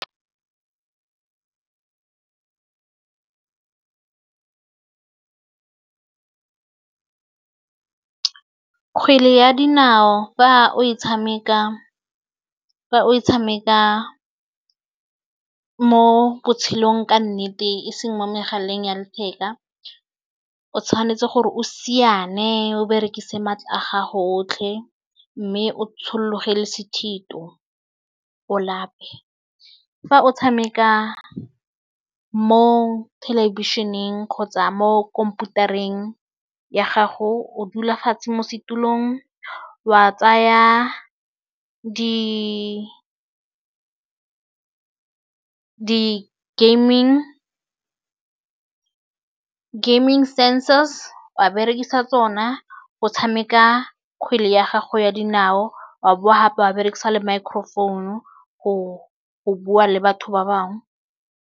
Kgwele ya dinao fa o e tshameka mo botshelong ka nnete e seng mo megaleng ya letheka o tshwanetse gore o siane o berekise maatla a gago otlhe mme o tshologe le sethito o lape. Fa o tshameka mo thelebišeneng kgotsa mo khomphutareng ya gago o dula fatshe mo setulong wa tsaya di gaming sensors wa berekisa tsona go tshameka kgwele ya gago ya dinao wa bowa gape ba berekisa le microphone go bua le batho ba bangwe.